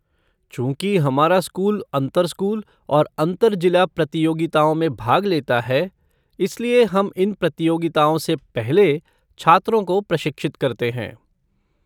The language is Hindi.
चूंकि हमारा स्कूल अंतर स्कूल और अंतर जिला प्रतियोगिताओं में भाग लेता है, इसलिए हम इन प्रतियोगिताओं से पहले छात्रों को प्रशिक्षित करते हैं।